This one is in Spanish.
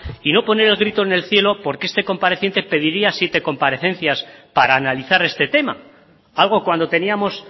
y no poner el grito en el cielo porque este compareciente pediría siete comparecencias para analizar este tema algo cuando teníamos